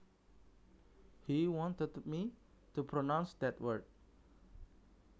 He wanted me to pronounce that word